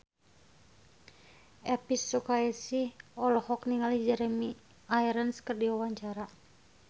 Elvi Sukaesih olohok ningali Jeremy Irons keur diwawancara